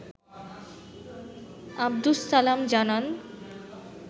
আবদুস সালাম জানান